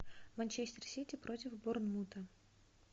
манчестер сити против борнмута